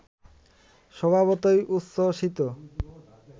স্বভাবতই উচ্ছ্বসিত!